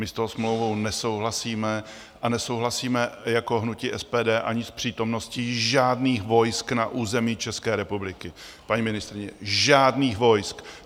My s tou smlouvou nesouhlasíme a nesouhlasíme jako hnutí SPD ani s přítomností žádných vojsk na území České republiky, paní ministryně, žádných vojsk!